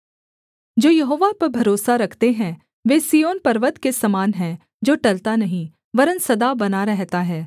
जो यहोवा पर भरोसा रखते हैं वे सिय्योन पर्वत के समान हैं जो टलता नहीं वरन् सदा बना रहता है